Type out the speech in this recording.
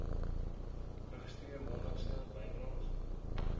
registreer maandelikse bydraes